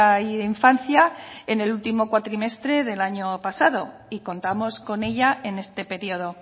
y de infancia en el último cuatrimestre del año pasado y contamos con ella en este periodo